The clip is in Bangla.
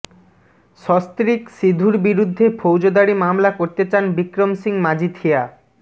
সস্ত্রীক সিধুর বিরুদ্ধে ফৌজদারি মামলা করতে চান বিক্রম সিং মাজিথিয়া